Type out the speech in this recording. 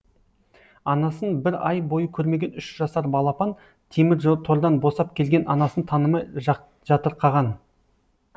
анасын бір ай бойы көрмеген үш жасар балапан темір тордан босап келген анасын танымай жатырқаған